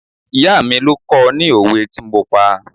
Ìyá mi ló kọ́ I ní òwe tí mo pa.